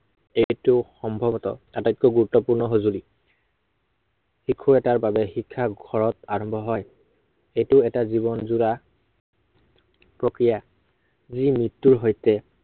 এইটো সম্ভৱতঃ আটাইতকৈ গুৰুত্বপূৰ্ণ সঁজুলি। শিশু এটাৰ বাবে শিক্ষা ঘৰত আৰম্ভ হয়। এইটো এটা জীৱনযোৰা প্ৰক্ৰিয়া। যি মৃত্য়ুৰ সৈতে